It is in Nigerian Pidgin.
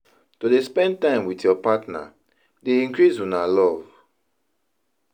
To dey spend time wit your partner dey increase una love.